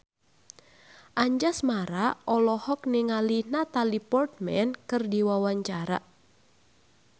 Anjasmara olohok ningali Natalie Portman keur diwawancara